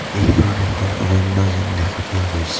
এইখন এখন অৰণ্য যেন দেখা পোৱা গৈছে.